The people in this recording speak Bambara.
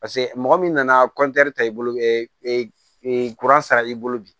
Paseke mɔgɔ min nana ta i bolo sara i bolo bi